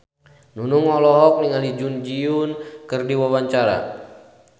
Nunung olohok ningali Jun Ji Hyun keur diwawancara